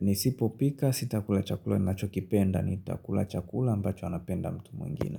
Nisipo pika sitakula chakula ninachokipenda, nitakula chakula ambacho anapenda mtu mwingine.